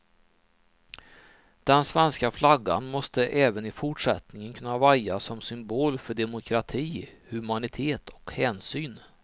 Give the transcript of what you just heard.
Den svenska flaggan måste även i fortsättningen kunna vaja som symbol för demokrati, humanitet och hänsyn.